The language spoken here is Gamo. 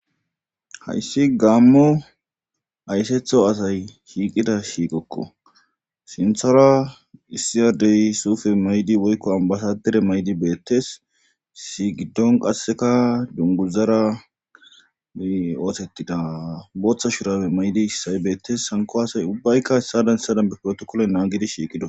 hayssi gaammu aysetho asay shiiqida shiiqokko sinthara issiyadey suufe maydi woykko ambasadere maydi beettes sigiddon qasseka dunguzara ootettida booththa shurabe maydi issay beettes hanko asay ubbaykka hessadan essadan be petokole naagidi shiiqido